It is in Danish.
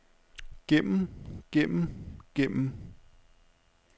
gennem gennem gennem